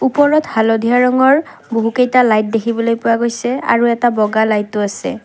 ওপৰত হালধীয়া ৰঙৰ বহুকেইটা লাইট দেখিবলৈ পোৱা গৈছে আৰু এটা বগা লাইট ও আছে।